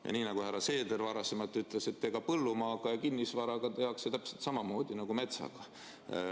Ja nii nagu härra Seeder varasemalt ütles, et põllumaaga ja kinnisvaraga tehakse täpselt samamoodi nagu metsaga.